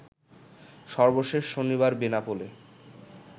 সর্বশেষ শনিবার বেনাপোলে